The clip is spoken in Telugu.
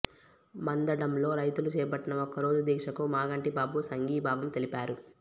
మందడంలో రైతులు చేపట్టిన ఒక్కరోజు దీక్షకు మాగంటి బాబు సంఘీభావం తెలిపారు